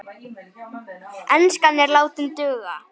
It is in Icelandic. Enskan er látin duga.